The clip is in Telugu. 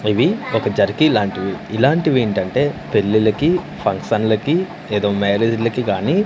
ఇవి ఒక జెర్కీ లాంటివి ఇలాంటివేంటంటే పెళ్ళిళ్ళకి ఫంక్షన్లకి ఏదో మ్యారేజ్ లకి గాని--